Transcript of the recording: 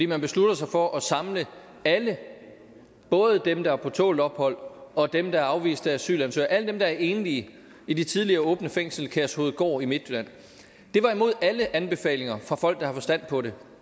man beslutter sig for at samle alle både dem der er på tålt ophold og dem der er afviste asylansøgere alle dem der er enlige i det tidligere åbne fængsel kærshovedgård i midtjylland det var imod alle anbefalinger fra folk der har forstand på det